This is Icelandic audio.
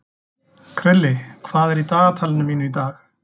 Krilli, hvað er í dagatalinu mínu í dag?